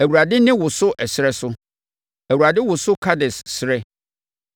Awurade nne woso ɛserɛ so; Awurade woso Kades serɛ.